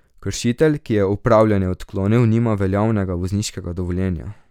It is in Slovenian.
Kršitelj, ki je opravljanje odklonil, nima veljavnega vozniškega dovoljenja.